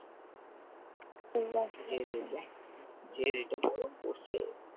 যে rate গরম পড়ছে